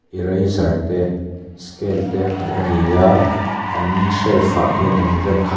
eraser te scale te hmuh ani a an shelf ah hian an rem khat--